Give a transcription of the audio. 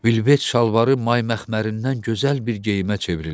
Vilvet şalvarı may məxmərindən gözəl bir geyimə çevrildi.